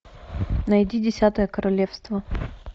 найди десятое королевство